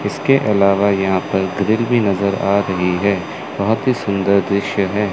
इसके अलावा यहां पर ग्रिल भी नजर आ रही है बहोत ही सुंदर दृश्य है।